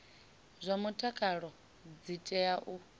zwa mutakalo dzi tea u